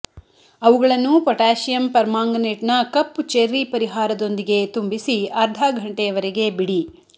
ಅವುಗಳನ್ನು ಪೊಟ್ಯಾಸಿಯಮ್ ಪರ್ಮಾಂಗನೇಟ್ನ ಕಪ್ಪು ಚೆರ್ರಿ ಪರಿಹಾರದೊಂದಿಗೆ ತುಂಬಿಸಿ ಅರ್ಧ ಘಂಟೆಯವರೆಗೆ ಬಿಡಿ